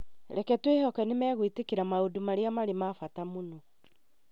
Reke twĩhoke nĩ megwĩtĩkĩra maũndũ marĩa marĩ ma bata mũno